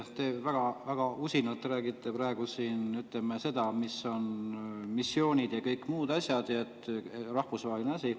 Te väga usinalt räägite praegu siin seda, mis on missioonid ja kõik muud asjad, rahvusvahelised asjad.